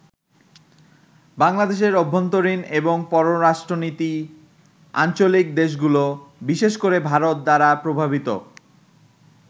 বাংলাদেশের অভ্যন্তরীণ এবং পররাষ্ট্রনীতি আঞ্চলিক দেশগুলো, বিশেষ করে ভারত দ্বারা প্রভাবিত।